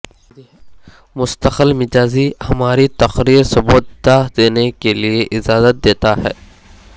مستقل مزاجی ہماری تقریر سبودھتا دینے کے لئے اجازت دیتا ہے